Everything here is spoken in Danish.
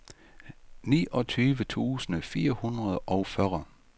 niogtyve tusind fire hundrede og fyrre